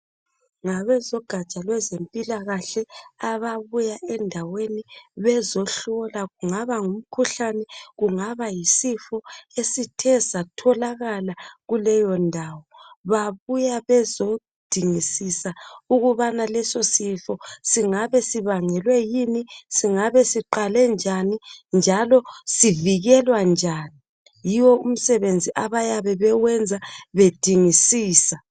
Ngabezogatsha lwezempilakahle ababuya endaweni bezehlola kungaba kungumkhuhlani, kungaba yisifo esithe satholakala kuleyondawo babuya bezodingisisa ukubana lesosifo singabe sibangelwe yini, singabe siqale njani njalo sivikelwa njani. Yiwo umsebenzi abayabe bewenza bedingisisa.